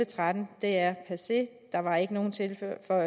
tretten er passé der var ikke nogen tilførelser